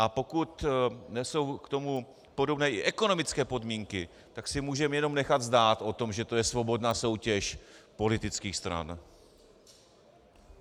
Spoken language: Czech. A pokud nejsou k tomu podobné i ekonomické podmínky, tak si můžeme jenom nechat zdát o tom, že to je svobodná soutěž politických stran.